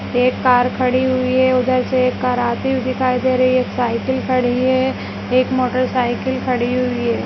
एक कार खड़ी हुई है उधर से एक कार आती हुई दिखाई दे रही है एक साइकिल खड़ी है एक मोटर साइकिल खड़ी हुई है।